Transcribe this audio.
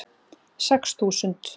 Sex þúsund